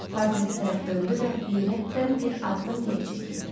Portretə tərəf döndü və heyrətdən bir addım geri çəkildi.